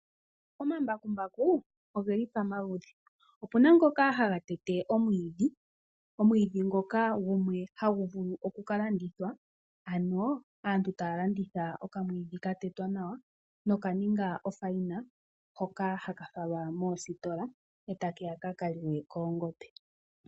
Omambakumbaku ogeli pamaludhi opuna ngoka haha tete omwiidhi ngoka gumwe Hague vulu oku kalandithwa ano aantu taalandithwa oka mwiidhi ka tetwa nawa noka ninga ofayina, hoka haka falwa moositola eta keya kaka liwe koongombe.